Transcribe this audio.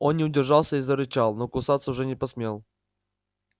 он не удержался и зарычал но кусаться уже не посмел